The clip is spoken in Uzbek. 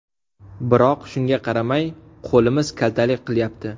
Biroq shunga qaramay qo‘limiz kaltalik qilyapti.